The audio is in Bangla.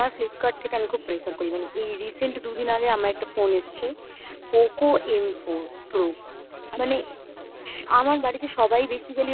আমার Filpkart থেকে আমি খুব করি. মানে এই recent দুদিন আগে আমার একটা phone এসছে. POCO M four pro মানে আমার বাড়িতে সবাই basically